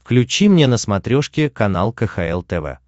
включи мне на смотрешке канал кхл тв